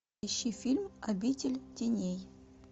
ищи фильм обитель теней